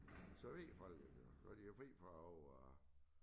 Så ved folk det jo så de jo fri fra at over